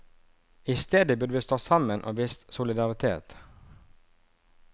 I stedet burde vi stått sammen og vist solidaritet.